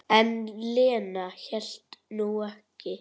En Lena hélt nú ekki.